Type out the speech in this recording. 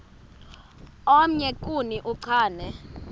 omnye kuni uchane